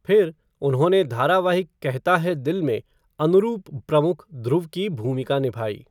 फिर, उन्होंने धारावाहिक कहता है दिल में अनुरूप प्रमुख ध्रुव की भूमिका निभाई।